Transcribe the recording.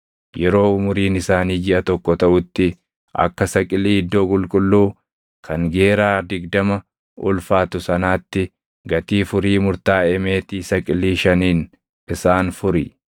Yeroo umuriin isaanii jiʼa tokko taʼutti akka saqilii iddoo qulqulluu kan geeraa digdama ulfaatu sanaatti gatii furii murtaaʼe meetii saqilii shaniin isaan furi.